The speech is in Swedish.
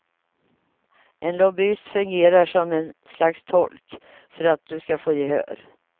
En lobbyist fungerar som en slags tolk för att du ska få gehör.